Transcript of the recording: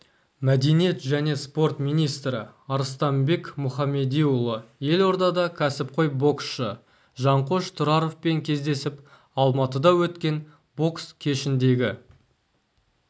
мәдениет және спорт министрі арыстанбек мұхамедиұлы елордада кәсіпқой боксшы жанқош тұраровпен кездесіп алматыда өткен бокс кешіндегі